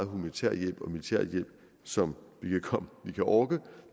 humanitær hjælp og militær hjælp som vi kan orke